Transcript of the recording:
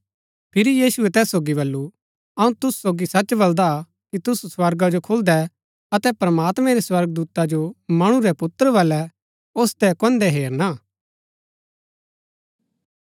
फिरी यीशुऐ तैस सोगी बल्ळू अऊँ तुसू सोगी सच बलदा कि तुसू स्वर्गा जो खुलदै अतै प्रमात्मैं रै स्वर्गदूता जो मणु रै पुत्र बलै ओसदै कुऐंदैं हेरणा